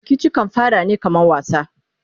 Rikici kan fara ne kaman wasa